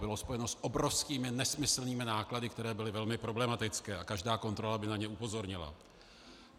Bylo spojeno s obrovskými, nesmyslnými náklady, které byly velmi problematické, a každá kontrola by na ně upozornila.